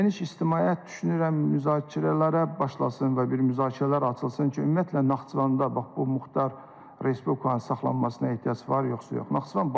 Geniş ictimaiyyət düşünürəm müzakirələrə başlasın və bir müzakirələr açılsın ki, ümumiyyətlə Naxçıvanda bax bu Muxtar Respublikanın saxlanmasına ehtiyac var, yoxsa yox?